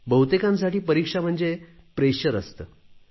बहुतेकांसाठी परीक्षा म्हणजे दबाव असतो